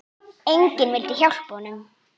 Enginn vildi hjálpa honum.